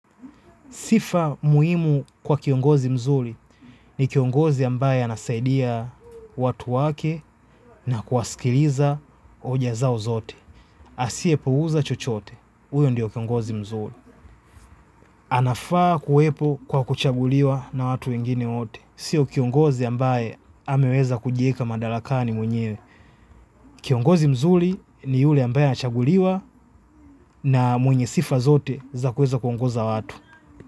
Sifa muhimu kwa kiongozi mzuri ni kiongozi ambaye anasaidia watu wake na kuwasikiliza hoja zao zote. Asiyepuuza chochote, huyo ndiye kiongozi mzuri. Anafaa kuwepo kwa kuchaguliwa na watu wengine wote. Siyo kiongozi ambaye ameweza kujieka madarakani mwenye. Kiongozi ni yule ambaye anachaguliwa na mwenye sifa zote za kuweza kuongoza watu.